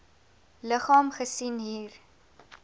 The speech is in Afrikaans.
liggaam gesien hier